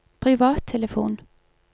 privattelefon